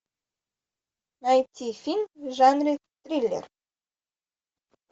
найти фильм в жанре триллер